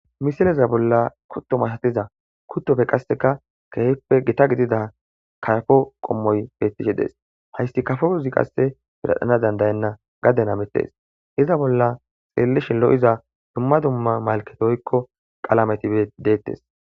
misileza bolla kutto matatiza kuttofe qasseka kehippe gita gidida kayafo qommoy bettishe des hayssi kafo uzi qasse piradhana dandayenna gaddenamettes iza bolla xeellishi lo7iza dumma dumma malketoykko qalameti deettes